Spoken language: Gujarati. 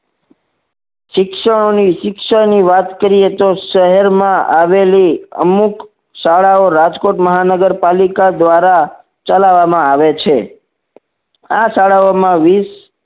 શિક્ષણઓ શિક્ષણ ની વાત કર્યે તો શહેર મા આવેલી અમુક શાળાઓ રાજકોટ મહાનગરપાલિકા દ્વારા ચલાવવામાં આવે છે આ શાળાઓ માં વીસ